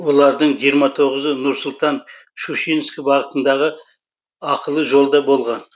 олардың жиырма тоғызы нұр сұлтан щучинск бағытындағы ақылы жолда болған